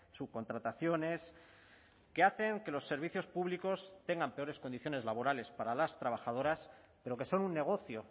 subcontrataciones que hacen que los servicios públicos tengan peores condiciones laborales para las trabajadoras pero que son un negocio